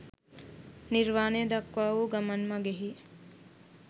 නිර්වාණය දක්වා වූ ගමන් මඟෙහි